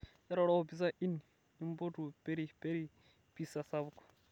eroro o pizza inn nimpotu peri peri pizza sapuk